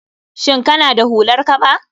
Shin kana da hular kaba?